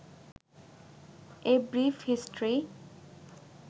A brief history